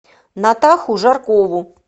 натаху жаркову